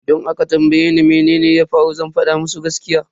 Idan aka tambaye ni mene ya faru zan fada musu gaskiya.